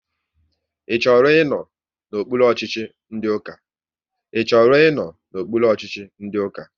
Ị chọrọ ịnọ n'okpuru ọchịchị ndị ụka?